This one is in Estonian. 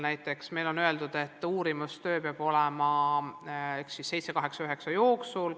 Näiteks on meil öeldud, et uurimistöö peab olema tehtud 7., 8., 9. klassi jooksul.